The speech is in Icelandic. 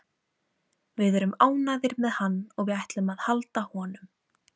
Að mínu mati er túlkun rannsakenda á þessum niðurstöðu umdeilanleg.